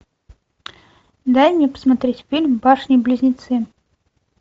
дай мне посмотреть фильм башни близнецы